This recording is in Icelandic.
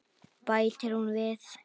Bætir hún við.